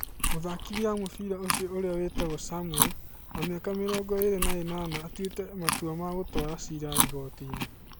Mũthakithia wa mũbira ũcio ũrĩa wĩtagwo Samuel, wa mĩaka mĩrongo ĩrĩ na ĩnana atuĩte matua ma gũtwara cira igotinĩ.